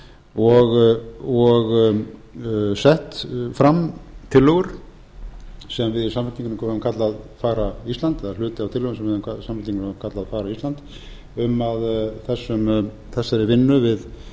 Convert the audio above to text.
og sett fram tillögur sem við í samfylkingunni höfum kallað fagra ísland eða hluti af tillögum sem við í samfylkingunni höfum kallað fagra ísland um að þessari vinnu við